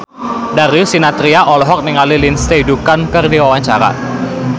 Darius Sinathrya olohok ningali Lindsay Ducan keur diwawancara